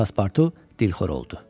Paspartu dilxor oldu.